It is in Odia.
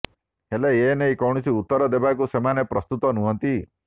ହେଲେ ଏନେଇ କୌଣସି ଉତ୍ତର ଦେବାକୁ ସେମାନେ ପ୍ରସ୍ତୁତ ନୁହନ୍ତି